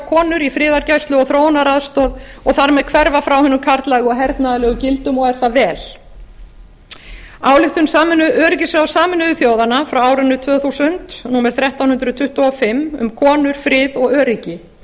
konur í friðargæslu og þróunaraðstoð og þar með hverfa frá hinum karllægu og hernaðarlegu gildum og er það vel ályktun öryggisráðs sameinuðu þjóðanna frá árinu tvö þúsund númer þrettán hundruð tuttugu og fimm um konur frið og öryggi